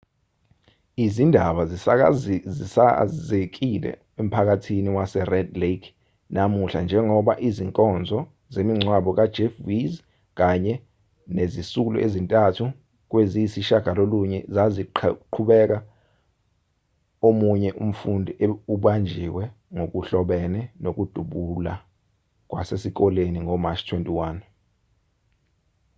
izindaba zisakazekile emphakathini wasered lake namuhla njengoba izinkonzo zemingcwabo kajeff weise kanye nezisulu ezintathu kweziyisishiyagalolunye zaziqhubeka omunye umfundi ubanjiwe ngokuhlobene nokudubula kwasesikoleni ngomashi 21